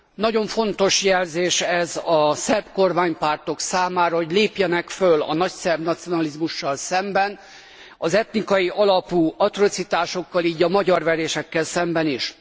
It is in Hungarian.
Nagyon fontos jelzés ez a szerb kormánypártok számára, hogy lépjenek föl a nagyszerb nacionalizmussal szemben, az etnikai alapú atrocitásokkal, így a magyarverésekkel szemben is.